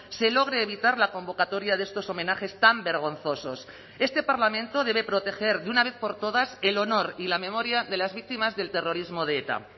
se logre evitar la convocatoria de estos homenajes tan vergonzosos este parlamento debe proteger de una vez por todas el honor y la memoria de las víctimas del terrorismo de eta